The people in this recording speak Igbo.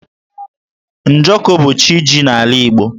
Njọkụ bụ CChi ji n'ala Igbo.